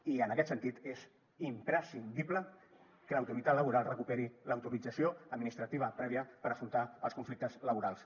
i en aquest sentit és imprescindible que l’autoritat laboral recuperi l’autorització administrativa prèvia per afrontar els conflictes laborals